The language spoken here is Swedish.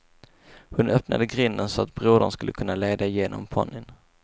Hon öppnade grinden så att brodern skulle kunna leda igenom ponnyn.